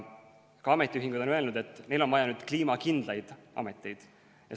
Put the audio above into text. Ka ametiühingud on öelnud, et neil on nüüd vaja kliimakindlaid ameteid.